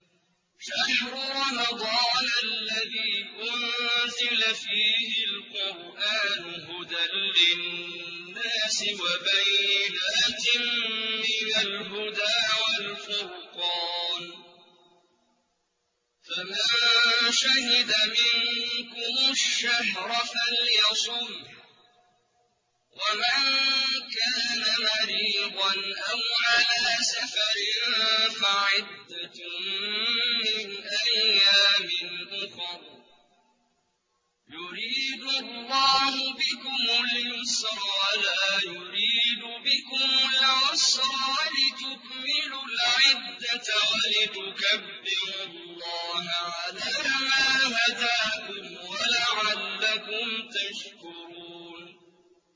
شَهْرُ رَمَضَانَ الَّذِي أُنزِلَ فِيهِ الْقُرْآنُ هُدًى لِّلنَّاسِ وَبَيِّنَاتٍ مِّنَ الْهُدَىٰ وَالْفُرْقَانِ ۚ فَمَن شَهِدَ مِنكُمُ الشَّهْرَ فَلْيَصُمْهُ ۖ وَمَن كَانَ مَرِيضًا أَوْ عَلَىٰ سَفَرٍ فَعِدَّةٌ مِّنْ أَيَّامٍ أُخَرَ ۗ يُرِيدُ اللَّهُ بِكُمُ الْيُسْرَ وَلَا يُرِيدُ بِكُمُ الْعُسْرَ وَلِتُكْمِلُوا الْعِدَّةَ وَلِتُكَبِّرُوا اللَّهَ عَلَىٰ مَا هَدَاكُمْ وَلَعَلَّكُمْ تَشْكُرُونَ